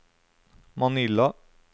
Manila